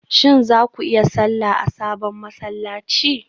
Shin za ku yi sallah a sabon masallaci?